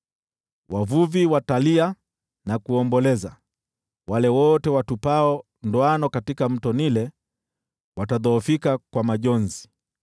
Wavuvi watalia na kuomboleza, wale wote watupao ndoano katika Mto Naili, watadhoofika kwa majonzi.